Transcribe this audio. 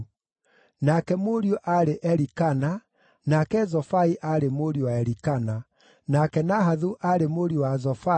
nake mũriũ aarĩ Elikana, nake Zofai aarĩ mũriũ wa Elikana, nake Nahathu aarĩ mũriũ wa Zofai,